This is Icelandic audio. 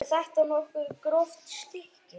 Er þetta nokkuð gróft stykki?